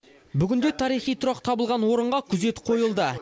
бүгінде тарихи тұрақ табылған орынға күзет қойылды